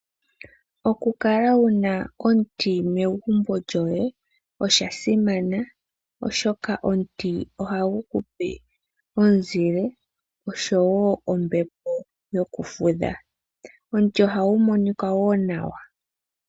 Okukala wuna omuti megumbo lyoye oshasimana oshoka omuti ohagu kupe omuzile oshowo ombepo yokufudha. Omuti ohagu monika woo nawa.